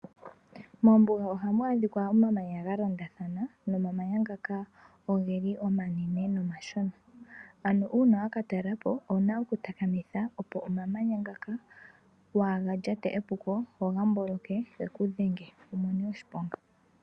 Mombuga ohamu adhika omamanya galondathana nomamanya ngaka ogeli omanene nomashona. Ano uuna waka talelapo owuna oku takamitha opo omamanya ngaka waaga lyate epuko goga mboloke geku dhenge wumone oshiponga.